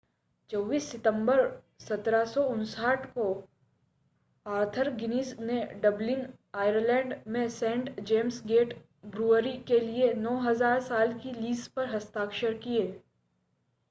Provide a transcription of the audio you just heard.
24 सितंबर 1759 को Arthur Guinness ने डबलिन आयरलैंड में सेंट जेम्स गेट ब्रूअरी के लिए 9,000 साल की लीज़ पर हस्ताक्षर किए